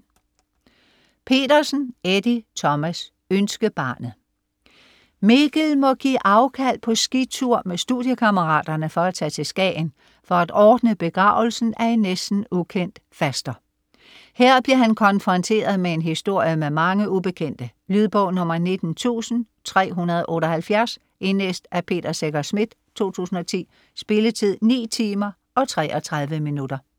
Petersen, Eddie Thomas: Ønskebarnet Mikkel må give afkald på skitur med studiekammeraterne for at tage til Skagen for at ordne begravelsen af en næsten ukendt faster. Her bliver han konfronteret med en historie med mange ubekendte. Lydbog 19378 Indlæst af Peter Secher Schmidt, 2010. Spilletid: 9 timer, 33 minutter.